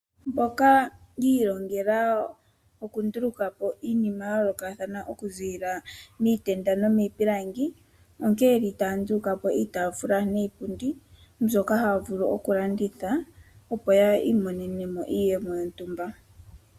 Mboka yi ilongela oku ndulukapo iinima ya yoolokathana okuziilila miitenda no miipilangi onkene ye li taya ndulukapo iitafula niipundi mbyoka haya vulu okulanditha opo yi imonene mo iiyemo yontumba.